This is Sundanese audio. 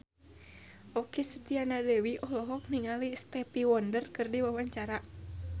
Okky Setiana Dewi olohok ningali Stevie Wonder keur diwawancara